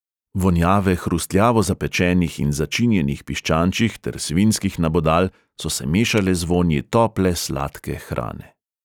Vonjave hrustljavo zapečenih in začinjenih piščančjih ter svinjskih nabodal so se mešale z vonji tople sladke hrane.